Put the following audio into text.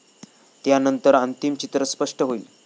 त्यानंतर अंतिम चित्र स्पष्ट हाईल.